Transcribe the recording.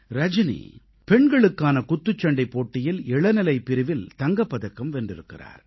ரஜனி பெண்களுக்கான குத்துச்சண்டைப் போட்டியில் இளநிலை பிரிவில் தங்கப் பதக்கம் வென்றிருக்கிறார்